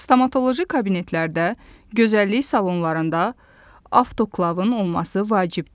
Stomatoloji kabinetlərdə, gözəllik salonlarında, avtoklavın olması vacibdir.